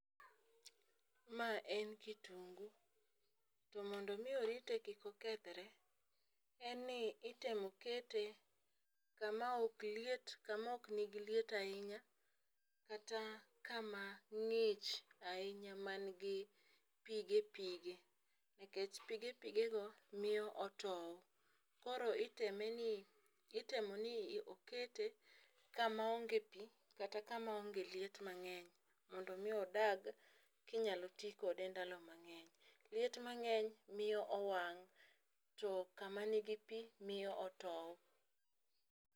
Ma en kitungu to mondo mi orite kik okethre, en ni itemo kete kama ok liet, kamo nigi liet ahinya kata kama ng'ich ahinya man gi pige pige, nikech pige pige go miyo otow koro iteme ni itemo ni okete kama onge pi kata kama onge liet mang'eny mondo mi odag kinyalo tii kode ndalo mang'eny. Liet mang'eny miyo owang' to kama nigi pii miyo otow.